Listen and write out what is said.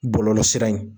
Bɔlɔlɔ sira in